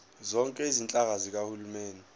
zonke izinhlaka zikahulumeni